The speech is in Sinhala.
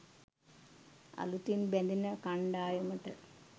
අලුතින් බැඳෙන කණ්ඩායමට